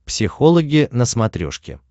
психологи на смотрешке